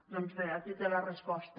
doncs bé aquí té la resposta